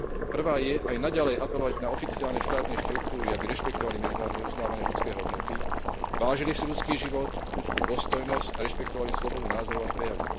Prvá je aj naďalej apelovať na oficiálne štátne štruktúry, aby rešpektovali medzinárodne uznávané ľudské hodnoty, vážili si ľudský život, ľudskú dôstojnosť a rešpektovali slobodu názorov a prejavu.